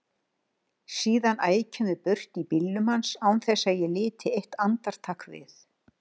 Síðan ækjum við burt í bílnum hans án þess að ég liti eitt andartak við.